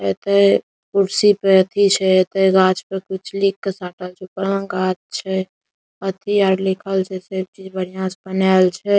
एते कुर्सी पे अथी छै एते गाछ पे कुछ लिख के साटल छै पुरान गाछ छै अथी आर लिखल छै सब चीज बढ़िया से बनाएल छै ।